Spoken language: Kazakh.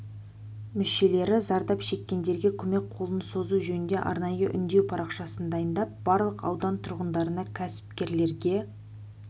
мүшелері зардап шеккендерге көмек қолын созу жөнінде арнайы үндеу парақшасын дайындап барлық аудан тұрғындарына кәсіпкерлерге